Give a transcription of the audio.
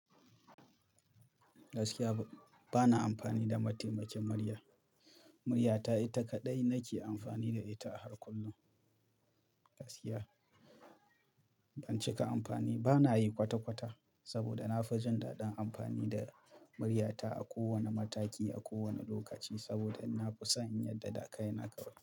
Gaskiya, ba na amfani da mataimakin murya. Muryata ita kaɗai nake amfani da ita a har kullum. Gaskiya, ban cika amfani ba na yi kwata-kwata saboda na fi jin daɗin amfani da muryata a kowanna mataki, a kowanna lokaci saboda na fi san yadda dakai na karɓa.